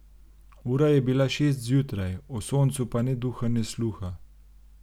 Ura je bila šest zjutraj, o soncu pa ne duha ne sluha.